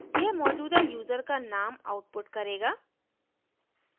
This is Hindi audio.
यह मौजूदा यूज़र का name output करेगा